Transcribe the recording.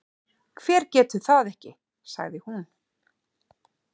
Hver getur það ekki? sagði hún.